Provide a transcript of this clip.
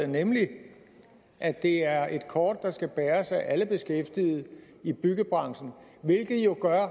nemlig at det er et kort der skal bæres af alle beskæftigede i byggebranchen hvilket jo gør